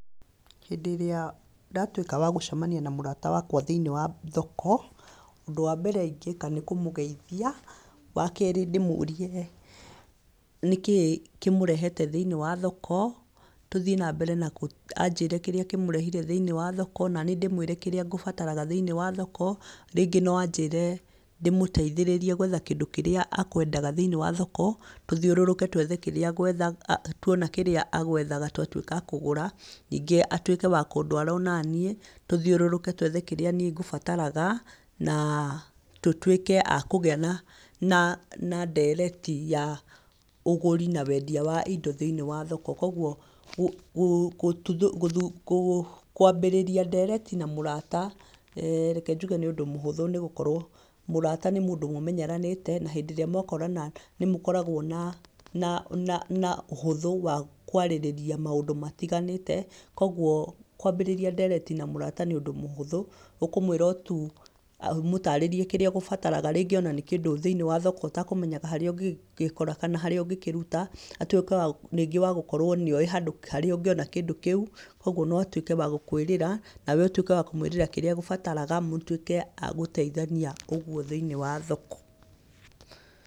Hĩndĩ ĩrĩa ndatwĩka wa gũcemania na mũrata wakwa thĩ-inĩ wa thoko, ũndũ wa mbere ingĩka nĩ kũmũgeithia, wakerĩ ndĩmũrie nĩkĩ kĩmũrehete thĩ-inĩ wa thoko, tũthi nambere na kũ anjĩre kĩrĩa kĩmũrehire thĩ-inĩ wa thoko, naniĩ ndĩmwĩre kĩrĩa ngũbataraga thĩ-inĩ wa thoko, rĩngĩ noanjĩre ndĩmũteithĩrĩrie kwetha kĩndũ kĩrĩa akwendaga thĩ-inĩ wa thoko, tũthiũrũrũke twethe kĩrĩa ngetha tuona kĩrĩa agwethaga twatwĩka a kũgũra, ningĩ atwĩke wa kũndwara onaniĩ, tũthiũrũrũke twethe kĩrĩa niĩ ngũbataraga, na tũtwĩke a kũgĩa na na ndereti ya ũgũri na wendia wa indo thĩ-inĩ wa thoko, koguo kũ gũ, kwambĩrĩria ndereti na mũrata eeh reke njuge nĩ ũndũ mũhúthũ nĩgũkorwo mũrata nĩ mũndũ mũmenyeraníte, na hĩndĩ ĩrĩa mwakorana, nĩmũkoragwo na kuona na na na ũhũthũ, wa kwarĩrĩria maũndũ matiganĩte, koguo, kwambĩrĩria ndereti na mũrata nĩúndũ mũhũthũ, ũkũmwĩra o tu amũtarĩrie kĩrĩa agũbataraga rĩngĩ ona nĩ kĩndũ thĩ-inĩ wa thoko ũtakũmenyaga harĩa ũngĩgĩkora kana harĩa ũngĩruta, atwĩke wa ningĩ wagũkorwo nĩoĩ handũ harĩa ũngĩona kĩndũ kĩu, koguo noatwĩke wa gũkwĩrĩra, nawe ũtwĩke wa kũmwĩrĩra kĩrĩa agũbataraga mũtwĩke a gũteithania ũguo thĩ-inĩ wa thoko.